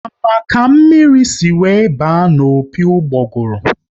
A ma ka mmiri si were baa n'opi ugboguru?